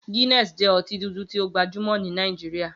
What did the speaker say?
Guinness jẹ́ ọtí dúdú tí ó gbajúmọ̀ ní Nàìjíríà.